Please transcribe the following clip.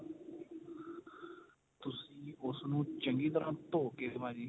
ਤੁਸੀਂ ਉਸ ਨੂੰ ਚੰਗੀ ਤਰਾਂ ਧੋਕੇ ਭਾਜੀ